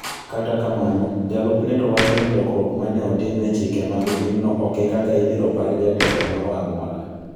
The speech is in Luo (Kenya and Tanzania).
Kata kamano, jalupne to wacho ni lokruok ma ne otim e chike mag pinyno ok e kaka ibiro par jatelo moro amora.